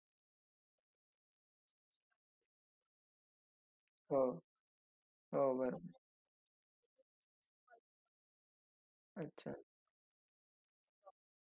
बाहेरच्या temperature शी match करायला थोडं अवघड जात असेल असं असं मला वाटतं मग त्याला आमच्या technical team शी मला एकदा बोलावं लागेल कि काय आहे तुमचा problem काय नाही.